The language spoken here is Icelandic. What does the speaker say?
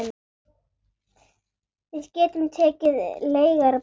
Við getum tekið leigara bara.